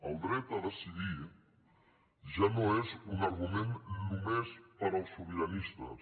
el dret a decidir ja no és un argument només per als sobiranistes